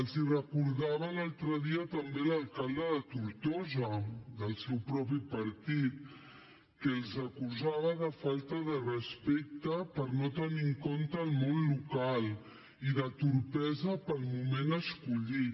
els ho recordava l’altre dia també l’alcalde de tortosa del seu propi partit que els acusava de falta de respecte perquè no tenien en compte el món local i de torpesa pel moment escollit